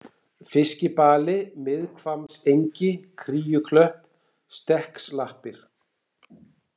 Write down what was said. Fiskibali, Miðhvammsengi, Kríuklöpp, Stekksklappir